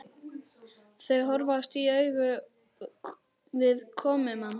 Þau horfast í augu við komumann.